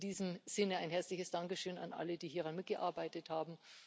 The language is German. In diesem Sinne Ein herzliches Dankeschön an alle, die hieran mitgearbeitet haben.